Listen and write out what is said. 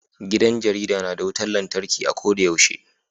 Gidan jarida na da wutan lantarki a ko da yaushe.